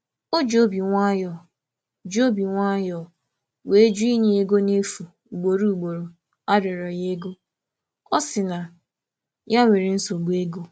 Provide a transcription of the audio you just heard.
Ọ um jụrụ um jụrụ arịrịọ inye ego ugboro ugboro um n’ụzọ dị mma, sị um na ọ nwere nsogbu ego nke onwe ya.